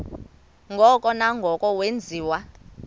ngoko nangoko wenziwa